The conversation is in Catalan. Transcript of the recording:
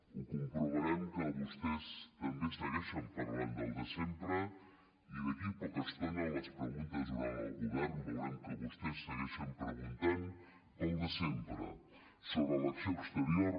ho comprovarem que vostès també segueixen parlant del de sempre i d’aquí a poca estona en les preguntes orals al govern veurem que vostès segueixen preguntant pel de sempre sobre l’acció exterior